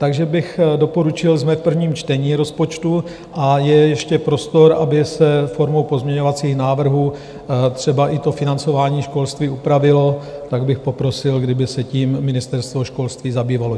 Takže bych doporučil, jsme v prvním čtení rozpočtu a je ještě prostor, aby se formou pozměňovacích návrhů třeba i to financování školství upravilo, tak bych poprosil, kdyby se tím Ministerstvo školství zabývalo.